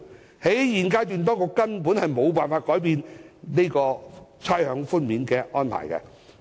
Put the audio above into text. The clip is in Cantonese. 當局在現階段根本無法改變差餉寬免的安排。